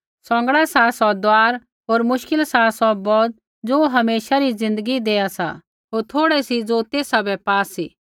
सौंगड़ा सा सौ दुआर होर मश्किल सा सौ बौत ज़ो हमेशा री ज़िन्दगी देआ सा होर थोड़ै सी ज़ो तेसा बै पा सी